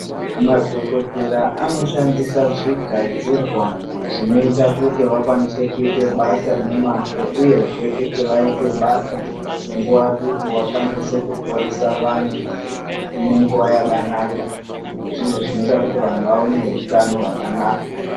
Madhogodhera anoshandisa zvigadzirwa zvinoite kuti vakwanise kuite basa nemazvo, uyezve kuti vaite basa nguva duku vakwanise kuporesa vantu nenguva yakanaka. Zvinhu zvinoita kuti vantu vave nehutano hwakanaka.